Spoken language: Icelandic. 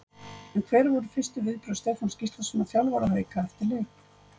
En hver voru fyrstu viðbrögð Stefáns Gíslasonar þjálfara Hauka eftir leik?